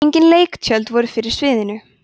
engin leiktjöld voru fyrir sviðinu